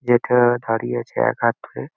টা দাঁড়িয়ে আছে এক হাত দুরে।